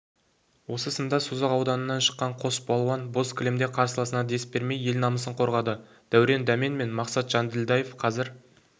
осы сында созақ ауданынан шыққан қос балуан боз кілемде қарсыласына дес бермей ел намысын қорғады дәурен дәмен мен мақсат жанділдаев қазір